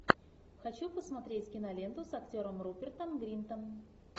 хочу посмотреть киноленту с актером рупертом гринтом